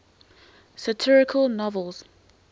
satirical novels